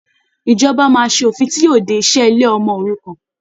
Ìjọba máa ṣe òfin tí yóò de e ìṣe ilé ọmọ òrukàn.